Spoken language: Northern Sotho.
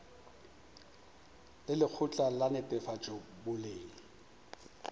le lekgotla la netefatšo boleng